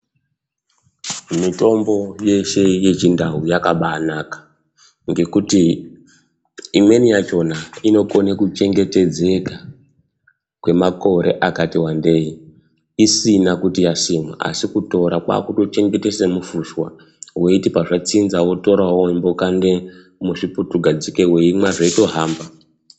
Mitombo yeshe yechindau yakabanaka nekuti imweni yachona inokona kuchengetedzeka kwemakore akati wandei isina kuti yasimwa. Asi kutora kwakutochengeta semufushwa veiti pazvatsinza votoravo veimbokande musvutu gadzike veimwa zveitohamba.